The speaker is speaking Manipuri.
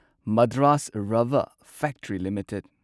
Madras rubber factory limited